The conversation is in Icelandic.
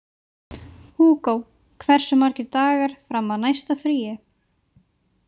Hugo, hversu margir dagar fram að næsta fríi?